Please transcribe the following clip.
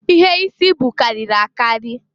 Ihe isi bụ karịrị a karị.